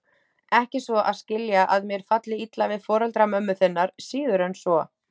Ekki svo að skilja að mér falli illa við foreldra mömmu þinnar, síður en svo.